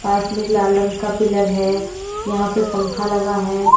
पास मे एक लाल रंग का पिलर है यहां पे पंखा लगा है।